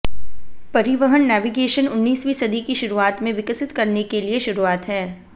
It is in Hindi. परिवहन नेविगेशन उन्नीसवीं सदी की शुरूआत में विकसित करने के लिए शुरुआत है